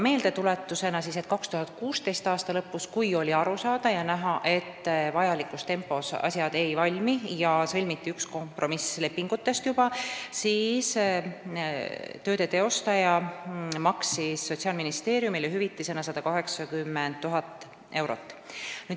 Meeldetuletuseks nii palju, et 2016. aasta lõpus, kui oli aru saada ja näha, et asjad vajalikus tempos ei valmi, ning sõlmiti juba üks kompromissleping, maksis tööde teostaja Sotsiaalministeeriumile hüvitisena 180 000 eurot.